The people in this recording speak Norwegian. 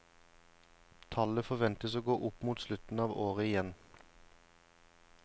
Tallet forventes å gå opp mot slutten av året igjen.